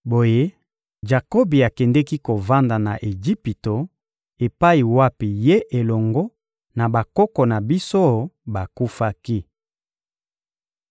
Boye, Jakobi akendeki kovanda na Ejipito epai wapi ye elongo na bakoko na biso bakufaki.